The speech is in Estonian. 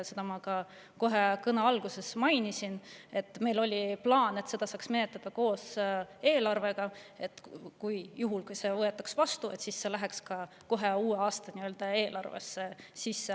Seda ma ka kohe kõne alguses mainisin, et meil oli plaan, et seda saaks menetleda koos eelarvega, nii et juhul, kui see oleks võetud vastu, oleks see läinud kohe uue aasta eelarvesse sisse.